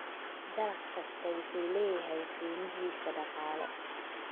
Dalag kastaa wuxuu leeyahay qiimahiisa dhaqaale.